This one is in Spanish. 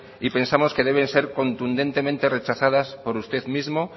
y pensamos que deben ser contundentemente rechazadas por usted mismo